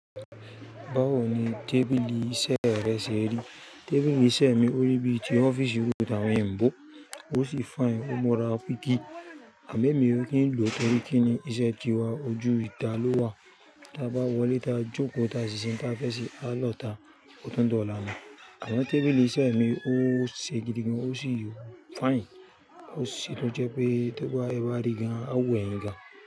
Báwo ni tábìlì iṣẹ́ rẹ ṣe rí? Tábìlì iṣẹ́ mi ò rí bíi ti ọ́fíìsì irú tàwọn èèbó, ó sì fine, ó múra píkí. Àmọ́ èmi ò kin lò torí kín ni iṣẹ́ tiwa ojú ìta ló wà. Tá a bá wọlé ta joko ta ṣíṣe uń ta fẹ ṣe a lọ ta ọtun dọ ọla. Àwọn tábìlì iṣẹ́ mi ò ṣe gidigan ó sì fine. Ó ṣé tó jẹ́ pé tó bá eba rigan a wun ẹyin gan.